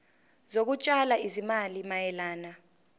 zokutshala izimali mayelana